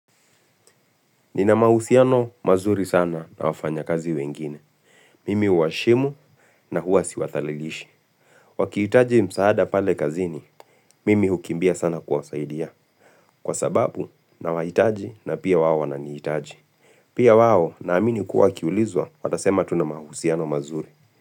Nina mahusiano mazuri sana na wafanya kazi wengine. Mimi huwaheshimu na huwa siwadhalilishi. Wakihitaji msaada pale kazini, mimi hukimbia sana kuwasaidia. Kwa sababu nawahitaji na pia wao wananihitaji. Pia wao naamini kuwa wakiulizwa, watasema tuna mahusiano mazuri.